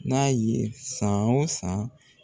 N'a ye san o san